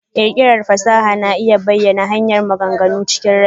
ƙirƙirar fasaha na iya zama hanyar ta bayana maganganu chikin rai.